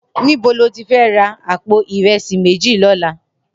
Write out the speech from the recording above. Nibó ló ti fè rà àpó irẹsi méji lòlá?